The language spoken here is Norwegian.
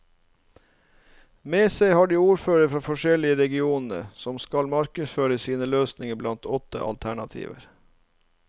Med seg har de ordførere fra de forskjellige regionene, som skal markedsføre sine løsninger blant åtte alternativer.